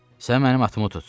Sən mənim atımı tut.